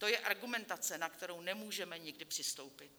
To je argumentace, na kterou nemůžeme nikdy přistoupit.